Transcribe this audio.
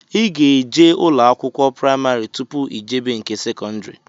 Ị ga-eje ụlọ akwụkwọ praimarị tụpụ ijebe nke sekọndri